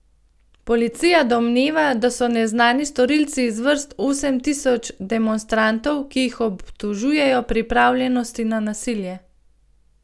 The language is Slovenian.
Policija domneva, da so neznani storilci iz vrst osem tisoč demonstrantov, ki jih obtožujejo pripravljenosti na nasilje.